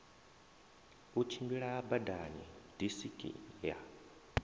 u tshimbila badani disiki ya